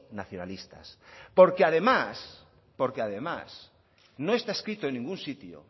nacionalistas porque además porque además no está escrito en ningún sitio